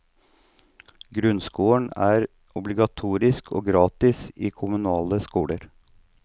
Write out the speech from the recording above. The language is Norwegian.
Grunnskolen er obligatorisk og gratis i kommunale skoler.